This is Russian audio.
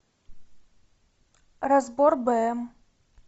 разбор бм